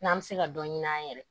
N'an bɛ se ka dɔ ɲini an yɛrɛ